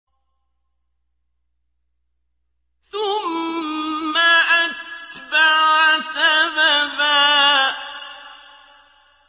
ثُمَّ أَتْبَعَ سَبَبًا